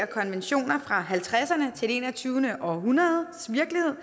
konventioner fra nitten halvtredserne til det enogtyvende århundredes virkelighed